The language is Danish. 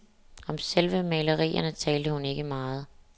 Om selve malerierne talte hun ikke meget.